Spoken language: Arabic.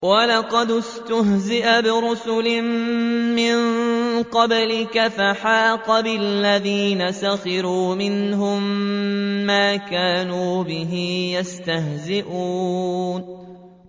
وَلَقَدِ اسْتُهْزِئَ بِرُسُلٍ مِّن قَبْلِكَ فَحَاقَ بِالَّذِينَ سَخِرُوا مِنْهُم مَّا كَانُوا بِهِ يَسْتَهْزِئُونَ